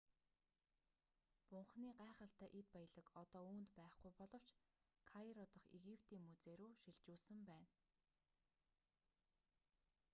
бунханы гайхалтай эд баялаг одоо үүнд байхгүй боловч кайро дахь египетийн музей рүү шилжүүлсэн байна